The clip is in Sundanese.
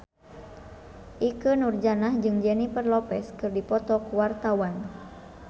Ikke Nurjanah jeung Jennifer Lopez keur dipoto ku wartawan